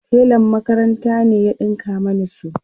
telan makaranta ne ya ɗinka Mani su